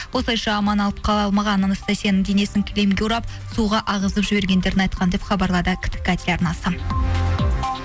осылайша аман алып қала алмаған анастасияның денесін кілемге орап суға ағызып жібергендерін айтқан деп хабарлады ктк теларнасы